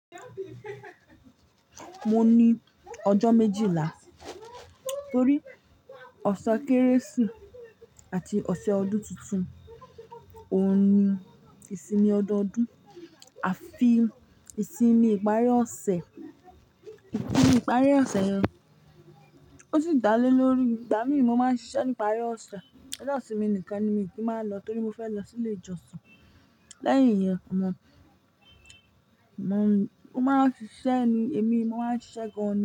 Mo ní ọjọ́ méjìlá torí ọ̀sẹ̀ Kérésì ati ọ̀sẹ̀ ọdún tuntun. Óhun ni ìsinmi ọdọọdún àfi ìsinmi ìparí ọ̀sẹ̀. Ìparí ọ̀sẹ̀ yẹn, ó sì dálé lórí, ìgbà mìí mo máa ń ṣiṣẹ́ ní ìparí ọ̀sẹ̀. Ọjọ́ ìsinmi nìkan ni mii kí n máa lọ torí mo fẹ́ lọ sí ilé ìjọsìn. Lẹ́yìn iyẹn, omo mo máa ń ṣiṣẹ́ ni, èmi mo máa ń ṣiṣẹ́ gan ni.